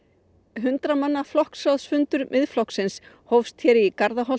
hundrað manna flokksráðsfundur Miðflokksins hófst hér í